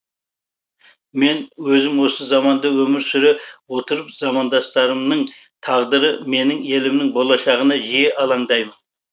мен өзім осы заманда өмір сүре отырып замандастарымның тағдыры менің елімнің болашағына жиі алаңдаймын